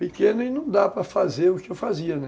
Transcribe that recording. Pequeno e não dá para fazer o que eu fazia, né?